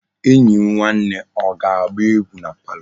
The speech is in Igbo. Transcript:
Enyi m nwanne o ga-agba egwu na palo?